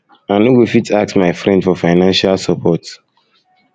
i no go fit ask my friend for financial support